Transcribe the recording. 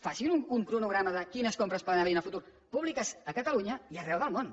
facin un cronograma de quines compres poden haver hi en el futur públiques a catalunya i arreu del món